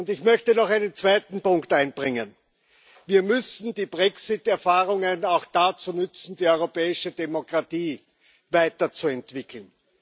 Ich möchte noch einen zweiten Punkt einbringen Wir müssen die Brexit Erfahrungen auch dazu nutzen, die europäische Demokratie weiterzuentwickeln.